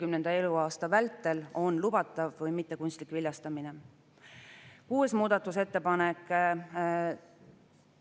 Teine muudatusettepanek on seotud muudatusettepanekuga nr 35, mille on teinud Riigikogu liikmed Arvo Aller, Kert Kingo, Kalle Grünthal ja Martin Helme, ning muudatusettepanekuga nr 36, mille on teinud Isamaa fraktsioon.